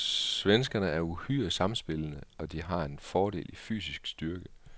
Svenskerne er uhyre sammenspillede, og de har en fordel i fysisk styrke.